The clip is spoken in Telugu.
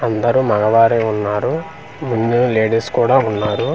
అందరు మగవారే ఉన్నారు ముందు లేడీస్ కూడా ఉన్నారు.